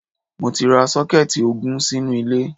Mo ti ra sọ́kẹ́ẹ́tì ogún sínú ilé.